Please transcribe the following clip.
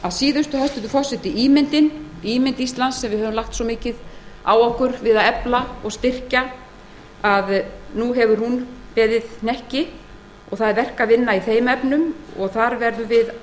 að síðustu hæstvirtur forseti er það ímynd íslands við höfum lagt mikið á okkur við að efla og styrkja hana nú hefur hún beðið hnekki og verk er að vinna í þeim efnum þar verðum við